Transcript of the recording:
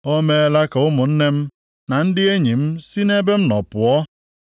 “O meela ka ụmụnne m na ndị enyi m si nʼebe m nọ pụọ.